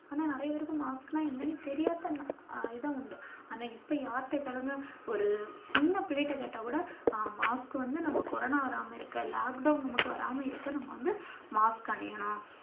ஆனா நிறைய பேருக்கு mask னா என்னன்னு தெரியாத இதுவும் உண்டு. ஆனா இப்ப யார்ட்ட கேளுங்க ஒரு சின்ன பிள்ளைட்ட கேட்டா கூட mask வந்து நமக்கு கொரோனா வராம இருக்க lockdown நமக்கு வராம இருக்க நாம வந்து mask அணியணும்.